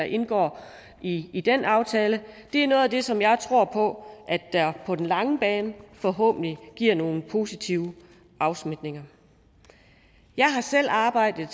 indgår i i den aftale er noget af det som jeg tror på på den lange bane forhåbentlig giver nogle positive afsmitninger jeg har selv arbejdet